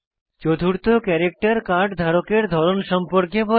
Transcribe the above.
চতুর্থ character card ধারকের ধরণ সম্পর্কে বলে